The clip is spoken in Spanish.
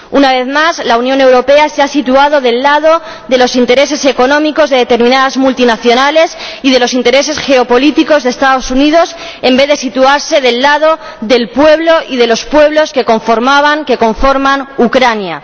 Una vez más la Unión Europea se ha situado del lado de los intereses económicos de determinadas multinacionales y de los intereses geopolíticos de los Estados Unidos, en vez de situarse del lado del pueblo y de los pueblos que conforman Ucrania.